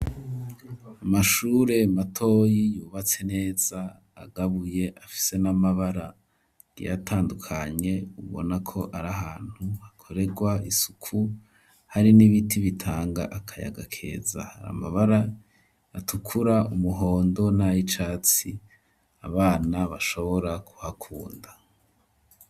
Amashure matoyi yubatse neza agabuye afise n'amabara agiye atandukanye ubona ko ari ahantu hakorerwa isuku hari n'ibiti bitanga akayaga keza hari amabara atukura umuhondo n'ayicatsi abana bashobora kuhakunda.